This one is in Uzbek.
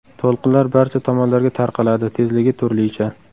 To‘lqinlar barcha tomonlarga tarqaladi, tezligi turlicha.